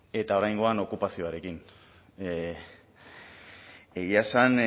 eta oraingoan okupazioarekin egia esan